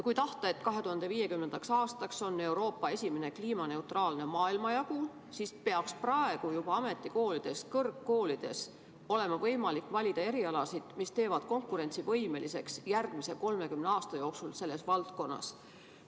Kui tahta, et 2050. aastaks oleks Euroopa esimene kliimaneutraalne maailmajagu, siis peaks praegu juba olema võimalik ametikoolides ja kõrgkoolides valida erialasid, mis teevad meid järgmise 30 aasta jooksul selles valdkonnas konkurentsivõimeliseks.